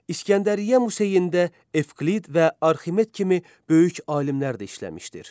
İsgəndəriyyə Museyində Evklid və Arximet kimi böyük alimlər də işləmişdir.